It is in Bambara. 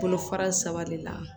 Bolo fara saba de la